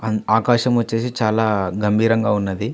ఆకాశం వచ్చేసి చాలా గంభీరంగా ఉన్నది.